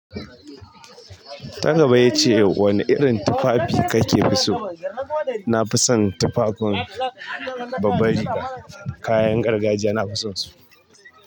Ta gaba yace wane irin tufafi kake so? Na fi son tufafin babban riga, kayan gargajiya nafi son su.